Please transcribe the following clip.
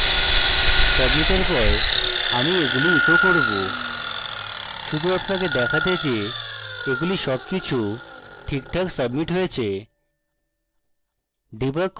submit এর পর আমি এগুলি echo করব শুধু আপনাকে দেখাতে যে এগুলি so ঠিকঠাক submit হয়েছে